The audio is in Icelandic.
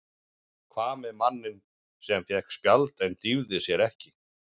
Hvað með manninn sem fékk spjald en dýfði sér ekki?